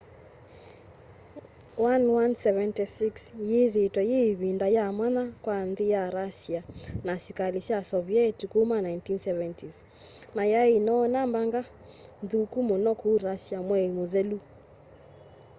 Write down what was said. ii -76 yithiitwe yi ivinda yamwanya kwa nthi ya russia na asikali sya soviet kuma 1970s na yai inoona mbanga nthuku muno ku russia mwei muthelu